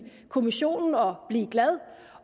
kommissionen og blive glad